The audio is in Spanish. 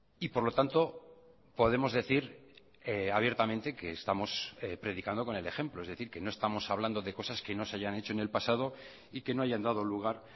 y por lo tanto podemos decir abiertamente que estamos predicando con el ejemplo es decir que no estamos hablando de cosas que no se hayan hecho en el pasado y que no hayan dado lugar